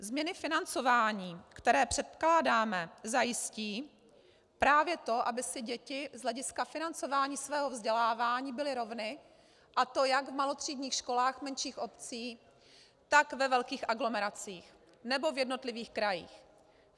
Změny financování, které předkládáme, zajistí právě to, aby si děti z hlediska financování svého vzdělávání byly rovny, a to jak v malotřídních školách menších obcí, tak ve velkých aglomeracích nebo v jednotlivých krajích.